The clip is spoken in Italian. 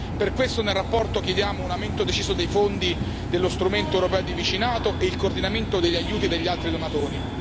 Per questo nella relazione chiediamo un aumento deciso dei fondi dello strumento europeo di vicinato e il coordinamento degli aiuti degli altri donatori.